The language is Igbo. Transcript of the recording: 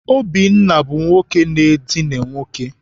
Obinna bụ nwoke na-edina nwoke.